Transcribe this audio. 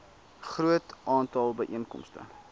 groot aantal byeenkomste